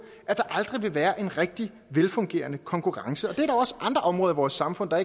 at der aldrig vil være en rigtig velfungerende konkurrence og det gælder også andre områder i vores samfund og